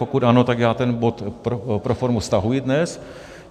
Pokud ano, tak já ten bod pro formu stahuji dnes.